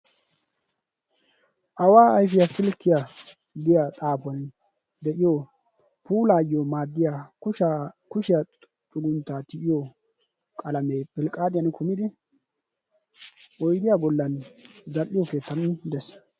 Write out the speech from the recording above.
Awaa ayfiyaa silkkiyaa giya xaafuwan de'iyo puulaayyo maaddiya kushiyaa xugunttaa tal"iyo qalamee pilqqaadiyaan kumidi oydiyaa gollan zal"iyo keettann dees.